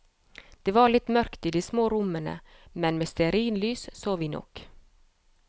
Det var litt mørkt i de små rommene, men med stearinlys så vi nok.